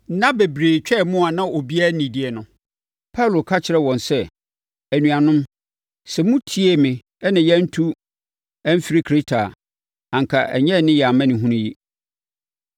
Nna bebree twaa mu a na obiara anidie no, Paulo ka kyerɛɛ wɔn sɛ, “Anuanom, sɛ motiee me na yɛantu amfiri Kreta a, anka ɛnyɛ ɛne yɛn amanehunu yi.